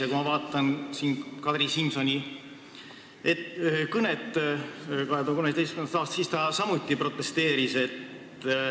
Ja kui ma vaatan Kadri Simsoni kõnet 2013. aastast, siis tema samuti protesteeris.